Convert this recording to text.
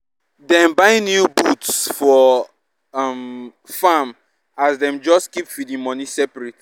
dem buy new boots for um farm as dem just keep feeding money separate